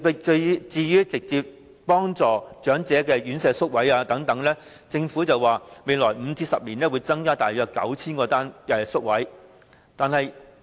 至於直接惠及長者的院舍宿位，政府說會在未來5年至10年增加大約 9,000 個宿位。